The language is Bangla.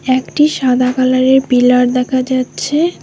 একটি সাদা কালারের পিলার দেখা যাচ্ছে।